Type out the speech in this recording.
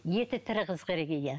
еті тірі қыз керек иә